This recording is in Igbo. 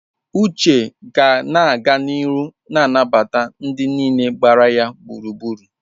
Uche ga na-aga n'ihu na-anabata ndị niile gbara ya gburugburu.